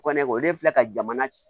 Ko ne kɔni filɛ ka jamana